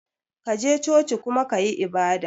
kaje coci kuma kayi ibada.